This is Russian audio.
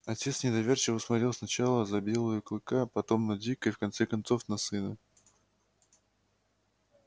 отец недоверчиво смотрел сначала за белою клыка потом на дика и в конце концов на сына